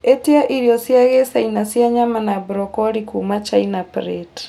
ĩtia irio cia gĩchina cia nyama na broccoli kuuma China plate